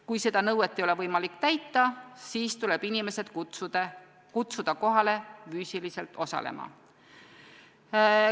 Kui seda nõuet ei ole võimalik täita, siis tuleb inimesed kutsuda füüsiliselt osalema.